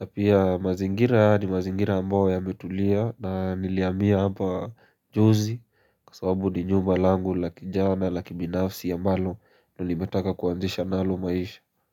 na pia mazingira ni mazingira ambao yametulia na nilihamia hapa juzi Kwa sababu ni nyumba langu la kijana la kibinafsi ambalo nimetaka kuanzisha nalo maisha.